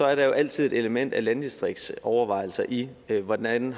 er der jo altid et element af landdistriktsovervejelser i hvordan